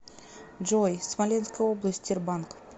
джой смоленская область тербанк